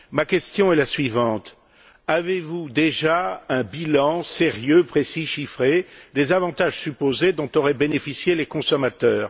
Ma question est la suivante avez vous déjà un bilan sérieux, précis et chiffré des avantages supposés dont auraient bénéficié les consommateurs?